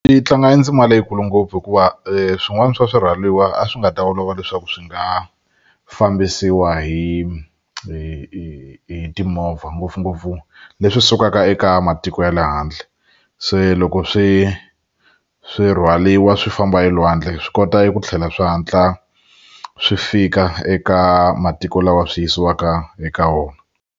Yi tlanga endzima leyikulu ngopfu hikuva swin'wana swa swirhwaliwa a swi nga ta olova leswaku swi nga fambisiwa hi hi hi timovha ngopfungopfu leswi sukaka eka matiko ya le handle se loko swi swi rhwaliwa swi famba hi elwandle swi kota ku tlhela swi hatla swi fika eka matiko lawa swi yisiwaka eka wona.